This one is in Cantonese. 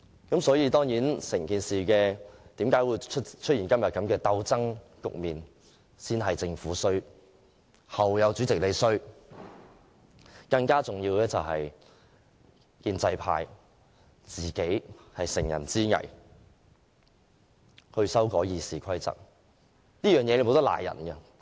整件事之所以出現今天的鬥爭局面，先是政府的錯，後有主席的錯，更重要的是建制派乘人之危修改《議事規則》，這個責任無法推卸。